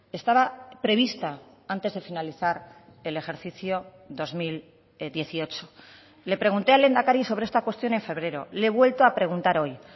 estaba prevista antes de finalizar el ejercicio dos mil dieciocho le pregunté al lehendakari sobre esta cuestión en febrero le he vuelto a preguntar hoy